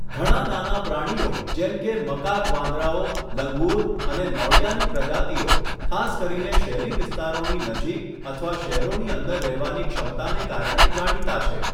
ઘણા નાના પ્રાણીઓ જેમ કે મકાક વાંદરાઓ, લંગુર અને નોળિયાની પ્રજાતિઓ ખાસ કરીને શહેરી વિસ્તારોની નજીક અથવા શહેરોની અંદર રહેવાની ક્ષમતાને કારણે જાણીતા છે.